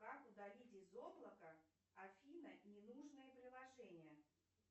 как удалить из облака афина ненужное приложение